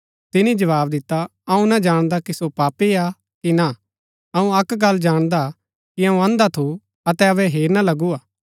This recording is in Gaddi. तिनी जवाव दिता अऊँ ना जाणदा कि सो पापी हा कि ना अऊँ अक्क गल्ल जाणदा कि अऊँ अंधा थू अतै अबै हेरना लगू हा